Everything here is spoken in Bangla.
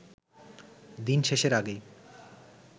দিন শেষের আগেই